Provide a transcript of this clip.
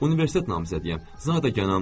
Universitet namizədiyəm, zadəganam.